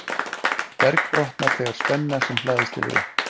berg brotnar þegar spenna sem hlaðist hefur upp